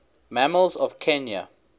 mammals of kenya